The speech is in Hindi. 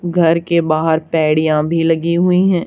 घर के बाहर पेड़ियां भी लगी हुई है।